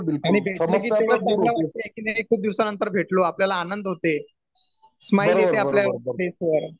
खूप दिवसा नंतर भेटलो आपल्याला आनंद होतोय स्मायल येते आपल्या फेस वर